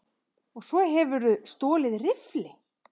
Og svo hefurðu stolið riffli!